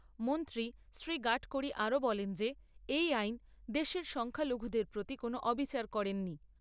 মন্ত্রী শ্রী গাডকাড়ি আরো বলেন যে এই আইন দেশের সংখ্যালঘুদের প্রতি কোনও অবিচার করেনি।